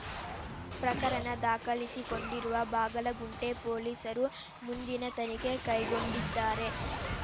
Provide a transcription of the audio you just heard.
ಪ್ರಕರಣ ದಾಖಲಿಸಿಕೊಂಡಿರುವ ಬಾಗಲಗುಂಟೆ ಪೊಲೀಸರು ಮುಂದಿನ ತನಿಖೆ ಕೈಗೊಂಡಿದ್ದಾರೆ